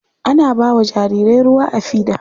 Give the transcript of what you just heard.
Ana ba wa jarirai ruwa a fida.